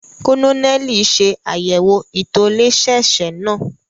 Kononeli ṣe àyẹwò itolẹsẹẹsẹ náà